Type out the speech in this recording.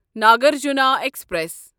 Nagarjuna express